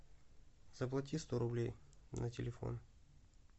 заплати сто рублей на телефон